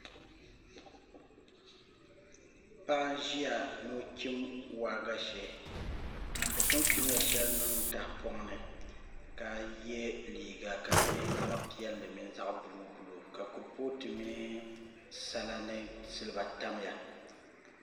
Paɣa n ʒiya ni o chim waagashe o pun chimla shɛli niŋ tahapoŋ ni ka yɛ liuga ka di nyɛ zaɣ piɛlli mini zaɣ buluu buluu ka kuripooti mini sala ni silba tamya